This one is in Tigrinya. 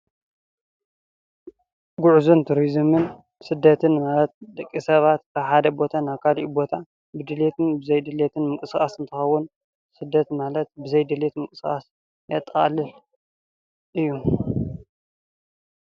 ጉዕዞን ቱሪዝምን ስደትን ማላት ደቂ ሰባት ካብ ሓደ ቦታ ናብ ካሊእ ቦታ ብድሌትን ብዘይድሌት ምንቅስቓስ እንትከውን ስደት ማለት ብዘይ ድሌት ምንቅስቓስ ዘጠቃልል እዩ፡፡